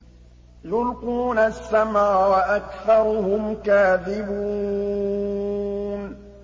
يُلْقُونَ السَّمْعَ وَأَكْثَرُهُمْ كَاذِبُونَ